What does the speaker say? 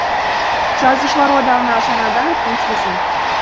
жазушылар одағына жаңадан өткен кезім